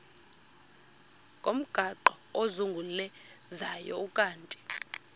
ngomgaqo ozungulezayo ukanti